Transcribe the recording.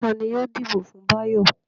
Ta ni yóò dìbò fún Báyọ̀?